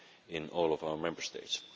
in all of our Member States.